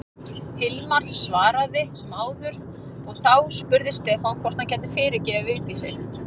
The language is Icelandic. Hilmar svaraði sem áður og þá spurði Stefán hvort hann gæti fyrirgefið Vigdísi.